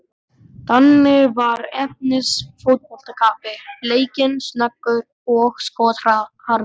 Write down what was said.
Danni var efnis fótboltakappi, leikinn, snöggur og skotharður.